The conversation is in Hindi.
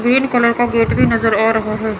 ग्रीन कलर का गेट भी नज़र आ रहा है।